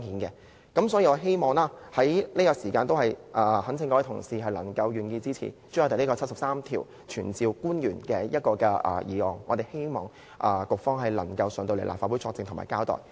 因此，我懇請各位同事支持朱凱廸議員根據《基本法》第七十三條提出有關傳召官員的議案，希望局方可以前來立法會作證和交代。